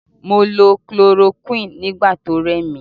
Mo lo chloroquine nigbati oremi